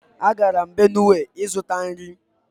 Agara m Benue ịzụta nri